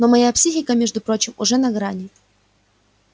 но моя психика между прочим уже на грани